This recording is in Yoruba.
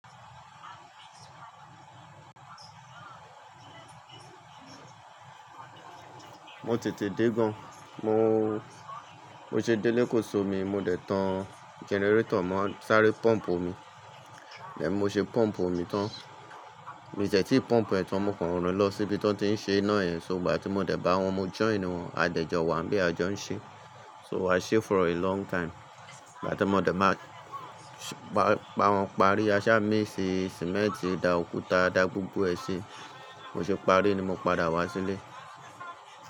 Mo tètè dé gan. Mo, mo ṣe délé kò'so mi, mo dẹ̀ tan generator mọ́ sárẹ́ pump omi, e mo ṣe pump omi tán. Mi ò te tì pump ẹ̀tàn mọ́kàn rin lọ síbi tí wọ́n ti ń ṣe iná ẹ. So ìgbà tí mo dẹ̀ bá wọn, mo join wọn, a dẹ́ jọ wá ń bẹ a jọ ń ṣe. So a ṣe for a long time. Ìgbà tí mo dẹ̀ máa pa, gbà wọ́n parí, a sá míx cement, da òkúta, da gbogbo ẹ ṣi, mo ṣe parí ni mo padà wá sílé.